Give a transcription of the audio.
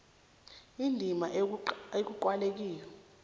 indima ekuqalwe kiyo